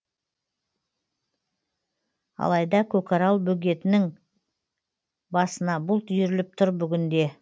алайда көкарал бөгетінің басына бұлт үйіріліп тұр бүгінде